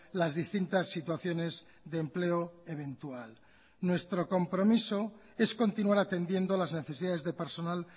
las distintas situaciones de empleo eventual nuestro compromiso es continuar atendiendo las necesidades de personal